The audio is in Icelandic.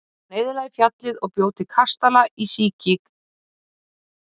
Hann eyðilagði fjallið og bjó til kastala og síki í kring.